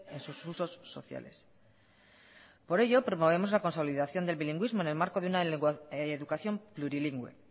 en sus usos sociales por ello promovemos la consolidación del bilingüismo en el marco de una educación plurilingüe